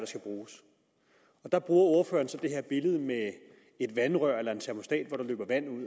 skal bruges der bruger ordføreren så det her billede med et vandrør eller en termostat hvor der løber vand